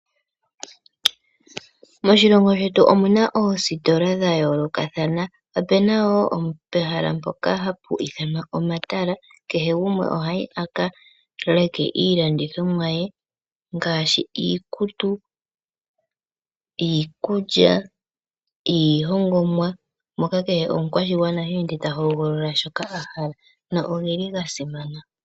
Moshilongo shetu omuna oositola dha yooloka thana. Opuna wo ehela mpoka hapu ithanwa omatala, kehe gumwe ohayi a ka leke iilandithomwa ye ngaashi: iikutu, iikulya, iihongomwa moka kehe omu kwashigwana ha ende ta ho golola shoka a hala, na ogeli ga simana.